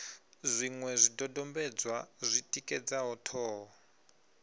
zwiṅwe zwidodombedzwa zwi tikedzaho ṱhoho